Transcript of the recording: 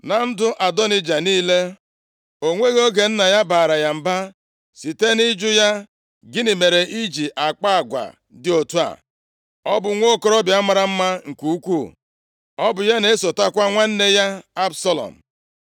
Na ndụ Adonaịja niile, o nweghị oge nna ya baara ya mba site nʼịjụ ya, “Gịnị mere i ji akpa agwa dị otu a?” Ọ bụ nwokorobịa mara mma nke ukwuu; ọ bụ ya na-esotekwa nwanne ya Absalọm.